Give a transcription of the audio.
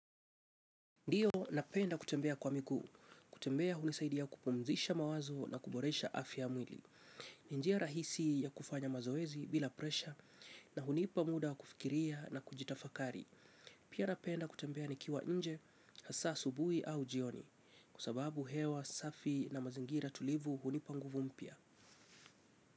Ndiyo napenda kutembea kwa miguu, kutembea hunisaidia kupumzisha mawazo na kuboresha afya ya mwili. Ni njia rahisi ya kufanya mazoezi bila presha na hunipa muda kufikiria na kujitafakari. Pia napenda kutembea nikiwa nje, hasa asubuhi au jioni, kwa sababu hewa safi na mazingira tulivu hunipa nguvu mpya.